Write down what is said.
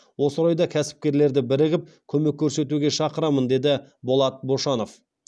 осы орайда кәсіпкерлерді бірігіп көмек көрсетуге шақырамын деді болат бошанов